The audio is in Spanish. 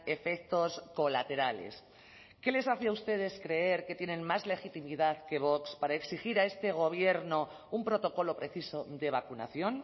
efectos colaterales qué les hace a ustedes creer que tienen más legitimidad que vox para exigir a este gobierno un protocolo preciso de vacunación